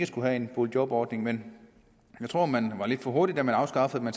skulle have en boligjobordning men jeg tror man var lidt for hurtig da man afskaffede den